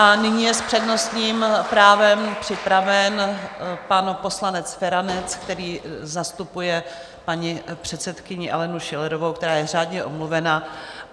A nyní je s přednostním právem připraven pan poslanec Feranec, který zastupuje paní předsedkyni Alenu Schillerovou, která je řádně omluvena.